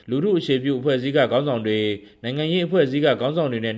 လူထုအခြေပြုအဖွဲ့အစည်းက ခေါင်းဆောင်တွေ ၊ ABSDF/ NLD-LA/ DPNS စတဲ့ နိုင်ငံရေးအဖွဲ့အစည်းတွေက ခေါင်းဆောင်တွေနဲ့